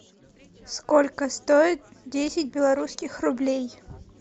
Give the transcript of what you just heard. сколько стоит десять белорусских рублей